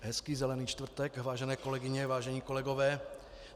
Hezký Zelený čtvrtek, vážené kolegyně, vážení kolegové.